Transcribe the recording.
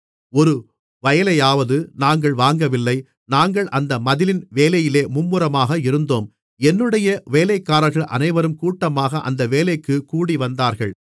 ஒரு வயலையாவது நாங்கள் வாங்கவில்லை நாங்கள் அந்த மதிலின் வேலையிலே மும்முரமாக இருந்தோம் என்னுடைய வேலைக்காரர்கள் அனைவரும் கூட்டமாக அந்த வேலைக்குக் கூடிவந்தார்கள்